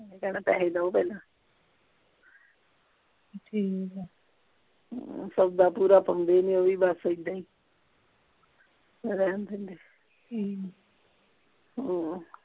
ਓਹਨੇ ਕਹਿਣਾ ਪੈਸੇ ਦਿਉ ਪਹਿਲਾਂ ਠੀਕ ਆ ਹਮ ਸੌਦਾ ਪੂਰਾ ਪਾਉਂਦੀ ਨਹੀਂ ਓਹ ਵੀ ਬਸ ਐਦਾਂ ਹੀ ਫੇਰ ਰਹਿਣ ਦਿੰਦੇ ਆ ਠੀਕ ਆ ਹਮ